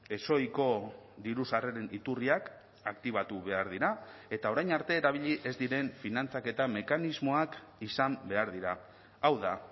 ezohiko diru sarreren iturriak aktibatu behar dira eta orain arte erabili ez diren finantzaketa mekanismoak izan behar dira hau da